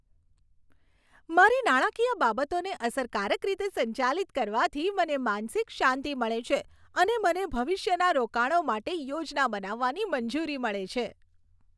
મારી નાણાકીય બાબતોને અસરકારક રીતે સંચાલિત કરવાથી મને માનસિક શાંતિ મળે છે અને મને ભવિષ્યના રોકાણો માટે યોજના બનાવવાની મંજૂરી મળે છે.